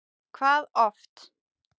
Hvað oft?